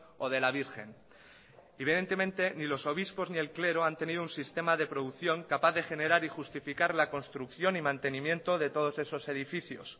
o de la virgen evidentemente ni los obispos ni el clero han tenido un sistema de producción capaz de generar y justificar la construcción y mantenimiento de todos esos edificios